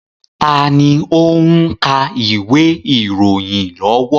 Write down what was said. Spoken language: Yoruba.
Taàní ó ń ka ìwé ìròyìn lọ́wọ́?